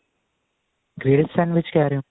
grilled sandwich ਕਿਹ ਰਹੇ ਹੋ